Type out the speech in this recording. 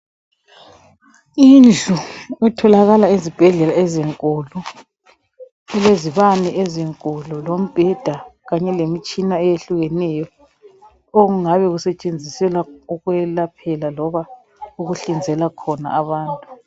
indlu etholakala ezibhedlela ezinkulu elezibane ezinkulu lombheda kanye lemtshina eyehlukeneyo okungabe kusetshenziselwa ukulaphela loba ukuhlinzela khona abantu